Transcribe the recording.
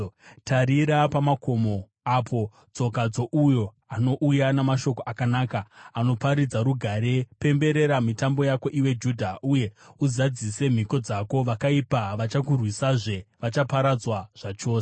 Tarira, pamakomo apo, tsoka dzouyo anouya namashoko akanaka, anoparidza rugare! Pemberera mitambo yako, iwe Judha, uye uzadzise mhiko dzako. Vakaipa havachakurwisazve; vachaparadzwa zvachose.